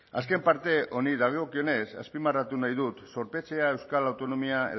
azken parte honi dagokionez azpimarratu nahi dut zorpetzea euskal autonomia